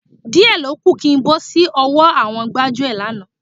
Díẹ̀ ló kù kí n bọ́ sí ọwọ́ àwọn gbájúẹ̀ lánàá.